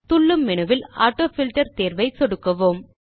துள்ளும் மெனுவில் ஆட்டோஃபில்ட்டர் தேர்வை சொடுக்குவோம்